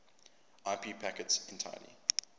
ip packets entirely